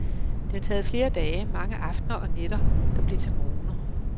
Det har taget flere dage, mange aftener, og nætter der blev til morgener.